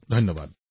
ধন্যবাদ